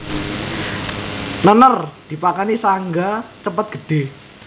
Nènèr dipakani saéngga cepet gedhé